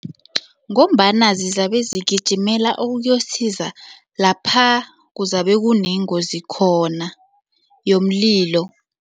Ngombana zizabe zigijimela ukuyokusiza lapha kuzabe kunengozi khona yomlilo.